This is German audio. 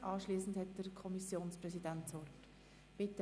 Anschliessend hat der Kommissionspräsident das Wort.